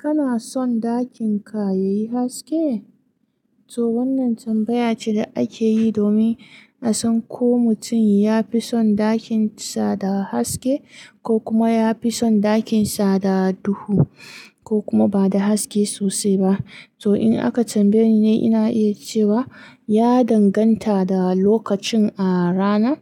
Kana son ɗakin ka yayi haske? To wannan tambaya ce da akeyi domin a san ko mutum yafi son ɗakin sa da haske ko kuma yafi son ɗakin sa da duhu ko kuma ba da haske sosai ba. To in aka tambaye ni, ina iya cewa ya danganta da lokacin a rana.